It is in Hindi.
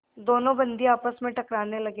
दोनों बंदी आपस में टकराने लगे